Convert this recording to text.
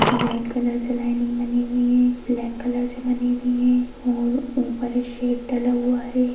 Red colour से lining बनी हुई हैं ब्लैक कलर से बनी हुई हैं और ऊपर शेड डला हुआ है।